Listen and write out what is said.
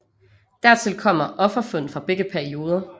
Dertil kommer offerfund fra begge perioder